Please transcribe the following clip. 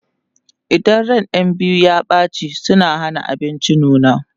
idan ran ƴan biyu ya ɓace suna Hana abinci nuna